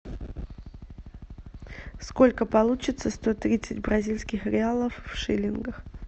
сколько получится сто тридцать бразильских реалов в шиллингах